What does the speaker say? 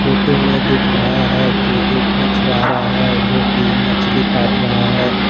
Photo में दिख रहा है कि एक मछुआरा है जोकि मछली काट रहा है।